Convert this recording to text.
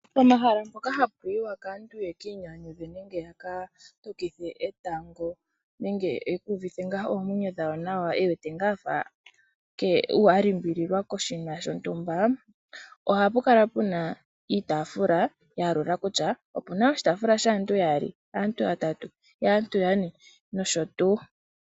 Pomahala mpoka hapuyiwa kaantu ye ki inyanyadhe nenge yaka tokithe etango nenge yeku uvithe ngaa oomwenyo dhawo nawa nenge afa ngaa alulilwa koshinima shontuma . ohapulala puna iitafula ya yalula kutya opuna oshitaafula shaantu yaali, oshaantu yatatu, oshaantu yane nosho tuu.